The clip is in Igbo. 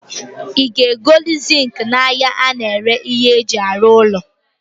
I ga egoli zinki na ahia a na-ere ihe e ji aru ulo